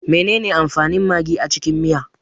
Menene amfanin magi a cikin miya?